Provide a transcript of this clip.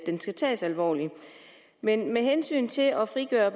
skal tages alvorligt med med hensyn til at frigøre